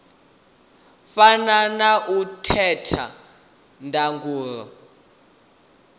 fana na ya theta ndangulo